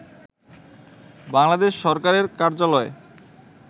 বাংলাদেশ সরকারের কার্যালয়